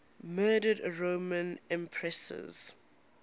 murdered roman empresses